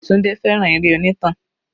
Tunde fẹ́ràn eré onítàn.